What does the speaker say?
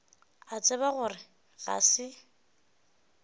a tseba gore ga se